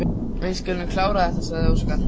Við skulum klára þetta, sagði Óskar.